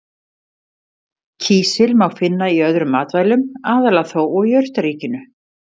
Kísil má finna í öðrum matvælum, aðallega þó úr jurtaríkinu.